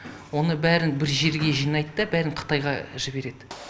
оның бәрін бір жерге жинайды да бәрін қытайға жібереді